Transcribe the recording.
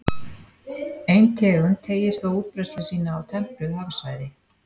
Ein tegund teygir þó útbreiðslu sína á tempruð hafsvæði.